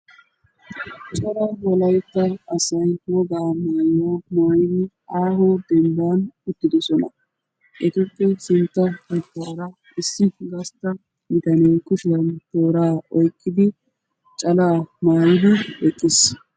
Cora Wolaytta asay wogaa maayuwaa maayidi aaho dembban uttidosona. etuppe sintta baggaara issi gastta bitanee kushiyan tooraa oyqqidi calaa maayidi eqqiis.